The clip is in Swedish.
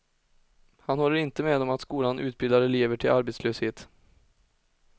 Han håller inte med om att skolan utbildar elever till arbetslöshet.